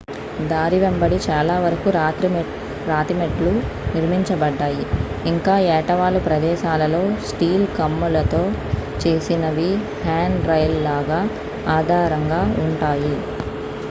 దారి వెంబడి చాలా వరకు రాతి మెట్లు నిర్మించబడ్డాయి ఇంకా ఏటవాలు ప్రదేశాలలో స్టీల్ కమ్ములతో చేసినవి హ్యాండ్రైల్ లాగా ఆధారంగా ఉంటాయి